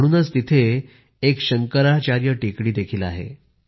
म्हणूनच तिथे एक शंकराचार्य हिल टेकडी आहे